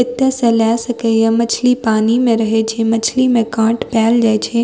एते से लेए सके ये मछली पानी में रहे छै मछली में काट पेएल जाय छै।